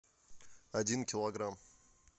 один килограмм